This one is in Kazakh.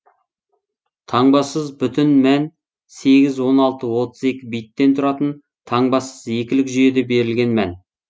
таңбасыз бүтін мән сегіз он алты отыз екі биттен тұратын таңбасыз екілік жүйеде берілген мән